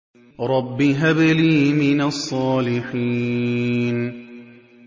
رَبِّ هَبْ لِي مِنَ الصَّالِحِينَ